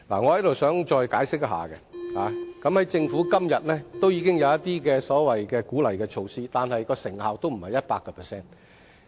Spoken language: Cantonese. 我想再解釋一下，政府今天已經有一些鼓勵措施，但不是取得 100% 成效。